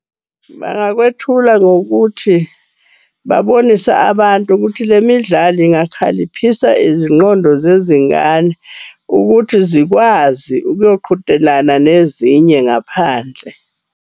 Bangakwethula ngokuthi babonise abantu ukuthi le midlalo ingakhaliphisa izingqondo zezingane, ukuthi zikwazi ukuyoqhudelana nezinye ngaphandle.